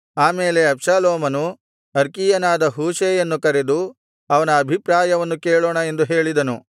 ಆಮೇಲೆ ಅಬ್ಷಾಲೋಮನು ಅರ್ಕೀಯನಾದ ಹೂಷೈಯನ್ನು ಕರೆದು ಅವನ ಅಭಿಪ್ರಾಯವನ್ನು ಕೇಳೋಣ ಎಂದು ಹೇಳಿದನು